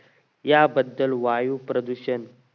या बद्दल वायू प्रदूषण